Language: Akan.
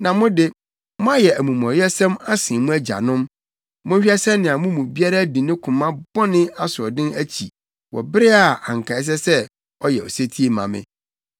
Na mo de, moayɛ amumɔyɛsɛm asen mo agyanom. Monhwɛ sɛnea mo mu biara di ne koma bɔne asoɔden akyi wɔ bere a anka ɛsɛ sɛ ɔyɛ osetie ma me.